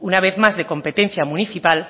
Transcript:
una vez más de competencia municipal